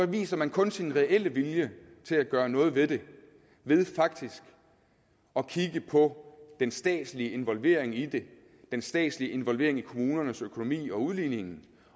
viser man kun sin reelle vilje til at gøre noget ved det ved faktisk at kigge på den statslige involvering i det den statslige involvering i kommunernes økonomi og udligningen